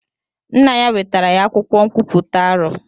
Nna ya wetara ya akwụkwọ nkwuputa arọ.